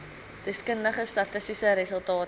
deskundige statistiese resultate